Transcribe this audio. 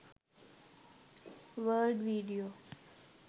world video